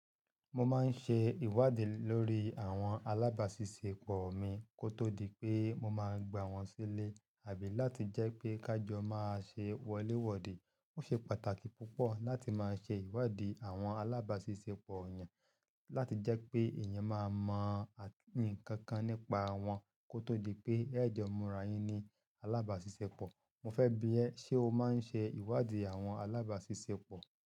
Mo máa ń ṣe ìwádìí lórí àwọn alábàáṣiṣẹ́pọ̀ mi kó tó di pé mo máa gba wọ́n sílé àbí láti jẹ́ pé ká jọ máa ṣe wọléwọ́de. Ó ṣe pàtàkì púpọ̀ láti máa ṣe ìwádìí àwọn alábàáṣiṣẹ́pọ̀ eyan, láti jẹ́ pé èèyàn máa mọ à nǹkankan nípa wọn kó tó di pé ẹ̀jọ̀ mura yín ni alábàáṣiṣẹ́pọ̀. Mo fẹ́ bi ẹ́, ṣe o máa ń ṣe ìwádìí àwọn alábàáṣiṣẹ́pọ̀?